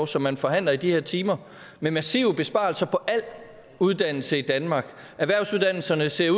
som man forhandler i de her timer med massive besparelser på al uddannelse i danmark erhvervsuddannelserne ser